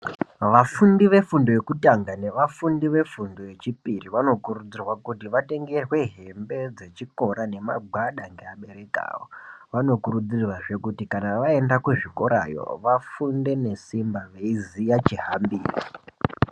Vafundi vefundo yekutanga nevafundi vefundo yechipiri vanokurudzirwa kuti vatengerwe hembe dzechikora nemagwada nevabereki vavo vanokurudzirwa futi kuti vaenda kuzvikorayo vafunde ngesimba veiziva chihambiro.